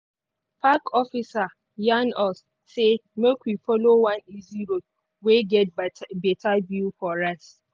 park officer yarn us say make we follow one easy road wey get bet better view for rest.